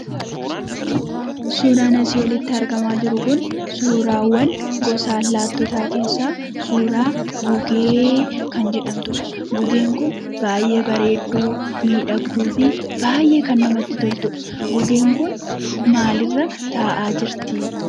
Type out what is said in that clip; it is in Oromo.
suuraan asii olitti argamaa jiru kun, suuraawwan gosa allaattotaa keessaa suuraa gugee kan jedhamtuudha . Gugeen kun baayyee bareedduu, miidhagduufi baayyee kan namatti toltuudha. Gugeen kun maalirra taa'aa jirti?